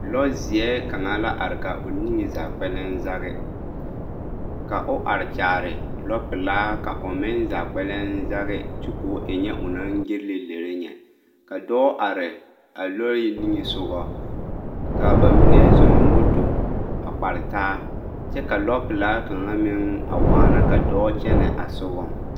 Lɔzeɛ kaŋa la are ka o niŋe zaa kpɛlɛm zage ka o are kyaare lɔpelaa ka o meŋ zaa kpɛlɛm zage kyɛ k'o e nyɛ o naŋ gelle lere nyɛ ka dɔɔ are lɔɛ niŋesogɔ k'a bamine zoɔ moto a kpare taa kyɛ ka lɔpelaa kaŋa meŋ a waana ka dɔɔ kyɛnɛ a sogɔŋ.